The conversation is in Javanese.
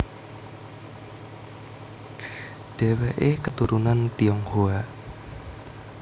Dheweke keturunan Tionghoa